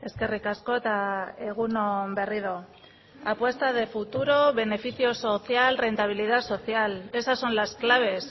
eskerrik asko eta egun on berriro apuesta de futuro beneficio social rentabilidad social esas son las claves